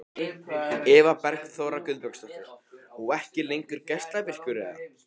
Eva Bergþóra Guðbergsdóttir: Og ekki lengur geislavirkur eða?